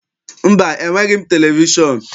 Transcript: Mba, enweghị m televishọn.